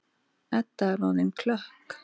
Edda er orðin klökk.